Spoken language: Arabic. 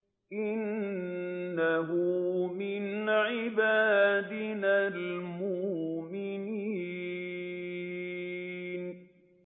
إِنَّهُ مِنْ عِبَادِنَا الْمُؤْمِنِينَ